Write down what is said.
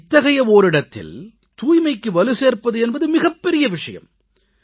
இத்தகைய ஓரிடத்தில் தூய்மைக்கு வலு சேர்ப்பது என்பது மிகப்பெரிய விஷயம்